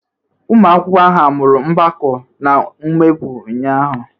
Ụmụ akwụkwọ ahụ amụru mgbakọ na mwepụ ụnyahụ?